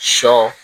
Sɔ